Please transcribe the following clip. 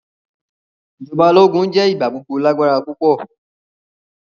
Ijọba ologun jẹ igbagbogbo lagbara pupọ.